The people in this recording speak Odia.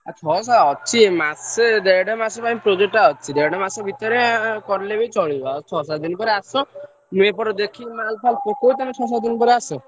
ମାସେ ଦେଢ ମାସେ ପାଇଁ project ଟା ଅଛି। ଦେଢ ମାସ ଭିତରେ କଲେ ବି ଚାଲିବ ଆଉ ଛଅ ସାତ ଦିନ ପରେ ଆସ। ତମେ ଆସ।